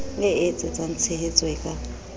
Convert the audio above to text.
e etsetsang tshehetso e ka